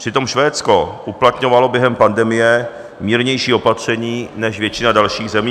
Přitom Švédsko uplatňovalo během pandemie mírnější opatření než většina dalších zemí.